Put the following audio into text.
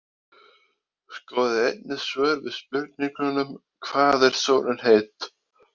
Skoðið einnig svör við spurningunum: Hvað er sólin heit?